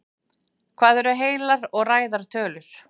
Hvað eru heilar og ræðar tölur?